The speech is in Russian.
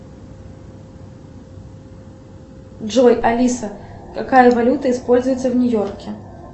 джой алиса какая валюта используется в нью йорке